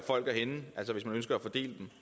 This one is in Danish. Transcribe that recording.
det